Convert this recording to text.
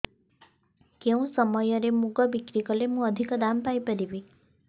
କେଉଁ ସମୟରେ ମୁଗ ବିକ୍ରି କଲେ ମୁଁ ଅଧିକ ଦାମ୍ ପାଇ ପାରିବି